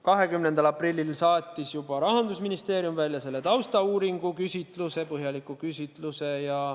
20. aprillil saatis juba Rahandusministeerium välja selle taustauuringu põhjaliku küsitluse.